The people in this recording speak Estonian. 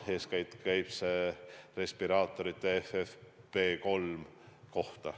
Eeskätt käib see respiraatorite FFP3 kohta.